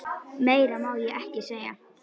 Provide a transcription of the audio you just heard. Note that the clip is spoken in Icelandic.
Meira má ég ekki segja.